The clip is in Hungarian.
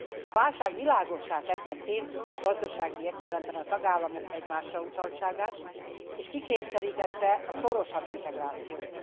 A válság világossá tette pénzügyi, gazdasági értelemben a tagállamok egymásrautaltságát, és kikényszerítette a szorosabb integrációt.